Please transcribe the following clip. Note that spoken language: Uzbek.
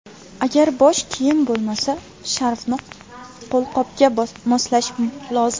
Agar bosh kiyim bo‘lmasa, sharfni qo‘lqopga moslash lozim.